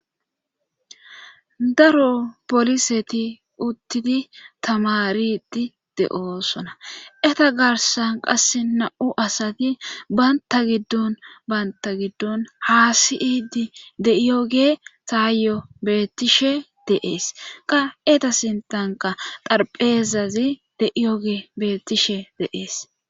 Daro poliseti uttidi tamariti de'oosona eta garsan qasse na'u asati baynta giddon banta giddon haa si'idi de'iyoge taayyo bettishe deees qa eta sintanka xarphezazi de'iyoge bettishe deees.